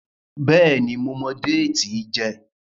béèni mo mọ Déètì n jé.